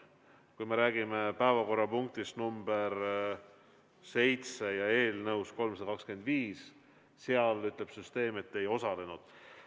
Kui me räägime päevakorrapunktist nr 7 ja eelnõust 325, siis selle kohta ütleb süsteem, et te ei osalenud.